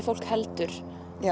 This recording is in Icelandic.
fólk heldur